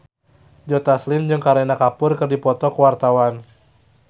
Joe Taslim jeung Kareena Kapoor keur dipoto ku wartawan